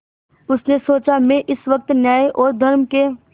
उसने सोचा मैं इस वक्त न्याय और धर्म के